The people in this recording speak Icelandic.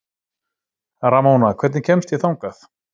Ramóna, hvernig kemst ég þangað?